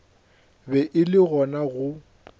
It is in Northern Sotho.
be e le gona go